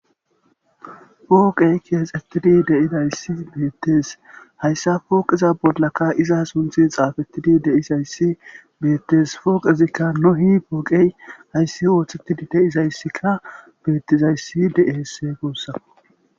Pooqey keexettidi de'idayssi beettees. Hayssa pooqeza bollaka iza sunthi xaafettidi de'izayssi beettes. Pooqezikka lohi pooqey hayssi oothettidi de7izayssikka beettizayssi de'eese guussako.